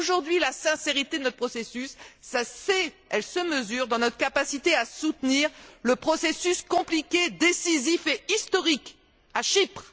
Aujourd'hui, la sincérité de notre processus se sait et elle se mesure à notre capacité à soutenir le processus compliqué, décisif et historique à Chypre.